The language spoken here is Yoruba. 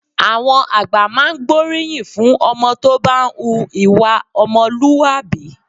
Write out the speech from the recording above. Àwọn àgbà máa ń gbóríyìn fún ọmọ tó bá ń hu ìwà ọmọlúwàbí